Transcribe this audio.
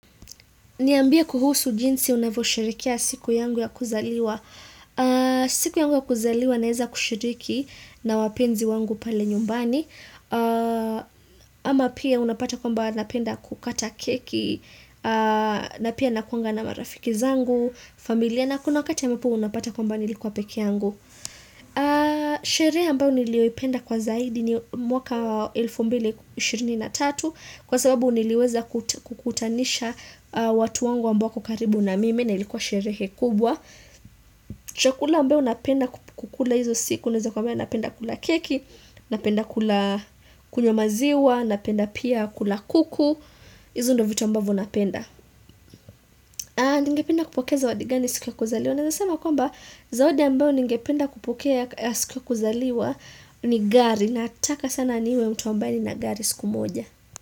Niambie kuhusu jinsi unavyosherekea siku yangu ya kuzaliwa. Siku yangu ya kuzaliwa naeza kushiriki na wapenzi wangu pale nyumbani. Ama pia unapata kwamba napenda kukata keki, na pia nakuanga na marafiki zangu, familia, na kuna wakati ambapo unapata kwamba nilikuwa pekee yangu. Sherehe ambao nilioipenda kwa zaidi ni mwaka elfu mbili ishirini na tatu Kwa sababu niliweza kukutanisha watu wangu ambao wako karibu na mimi na ilikuwa sherehe kubwa Chakula ambayo napenda kukula hizo siku, naweza kuambia napenda kula keki, napenda kula kunywa maziwa, napenda pia kula kuku Izo ndio vitu ambavyo napenda Aah ningepinda kupokea zawadi gani siku ya kuzaliwa Naweza sema kwamba zawadi ambayo ningependa kupokea siku ya kuzaliwa ni gari Nataka sana niwe mtu ambaye ninagari siku moja.